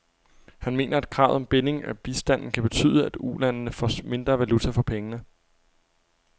Han mener, at kravet om binding af bistanden kan betyde, at ulandene får mindre valuta for pengene.